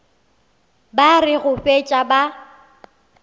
ba re go fetša ba